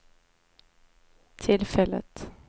tillfället